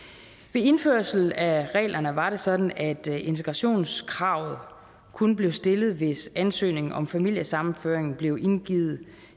ved indførelsen af reglerne var det sådan at integrationskravet kun blev stillet hvis ansøgningen om familiesammenføring blev indgivet